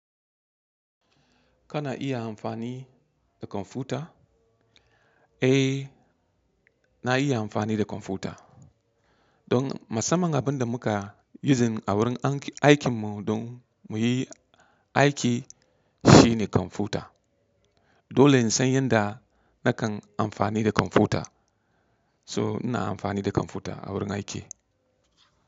Kana iya amfani da kwamfuta? Eh, na iya amfani da kwamfuta. Don musamman abin da muka using a wurin aikin mu don muyi aiki shine kwamfuta. Dole in san yanda nakan amfani da kwamfuta. So ina amfani da kwamfuta a wurin aiki.